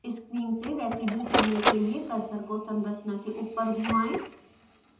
screen से residue चुनने के लिए: कर्सर को संरचना के ऊपर घुमायें